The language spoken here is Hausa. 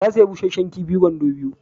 Ta sayi busasshen kifi kwando biyu.